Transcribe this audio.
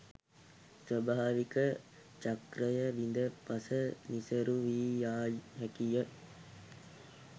ස්වභාවික චක්‍රය බිඳ පස නිසරු වී යා හැකිය.